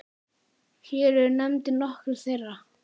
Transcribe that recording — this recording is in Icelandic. Hér eru nefndir nokkrir þeirra